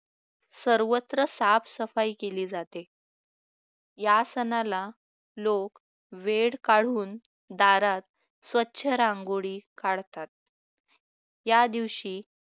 सर्वत्र साफसफाई केली जाते या सणाला लोक वेळ काढून दारात स्वच्छ रांगोळी काढतात या दिवशी